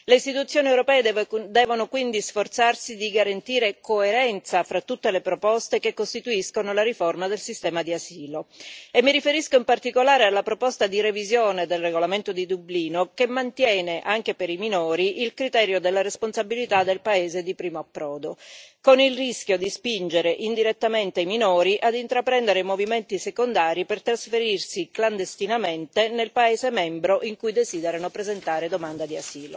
Le istituzioni europee devono quindi sforzarsi di garantire coerenza fra tutte le proposte che costituiscono la riforma del sistema di asilo, e mi riferisco in particolare alla proposta di revisione del regolamento di Dublino che mantiene, anche per i minori, il criterio della responsabilità del paese di primo approdo, con il rischio di spingere indirettamente i minori ad intraprendere movimenti secondari per trasferirsi clandestinamente nel paese membro in cui desiderano presentare domanda di